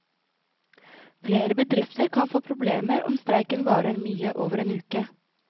Flere bedrifter kan få problemer om streiken varer mye over en uke.